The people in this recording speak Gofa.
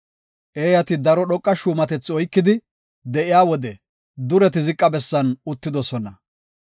Eeyati daro dhoqa shuumatetha oykidi de7iya wode dureti ziqa bessan uttidosona.